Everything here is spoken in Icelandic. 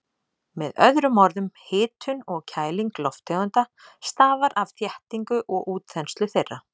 Með öðrum orðum, hitun og kæling lofttegunda stafar af þéttingu og útþenslu þeirra.